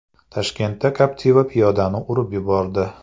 Toshkentda Captiva piyodani urib yubordi.